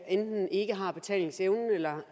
enten ikke har betalingsevnen eller